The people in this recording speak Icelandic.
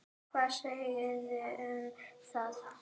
Hvað segiði um það?